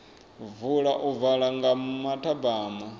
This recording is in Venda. vula u bva nga mathabama